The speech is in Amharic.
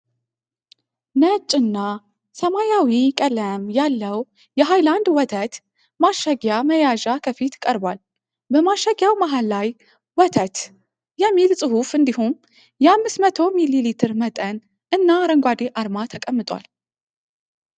ነጭና ሰማያዊ ቀለም ያለው የሃይላንድ ወተት ማሸጊያ መያዣ ከፊት ቀርቧል። በማሸጊያው መሃል ላይ "ወተት" የሚል ጽሑፍ እንዲሁም የ500 ሚሊ ሊትር መጠን እና አረንጓዴ አርማ ተቀምጧል።